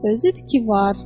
Özü idi ki, var.